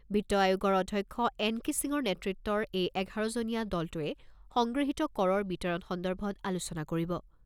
বিত্ত আয়োগৰ অধ্যক্ষ এন কে সিঙৰ নেতৃত্বৰ এই এঘাৰজনীয়া দলটোৱে সংগৃহীত কৰৰ বিতৰণ সন্দৰ্ভত আলোচনা কৰিব।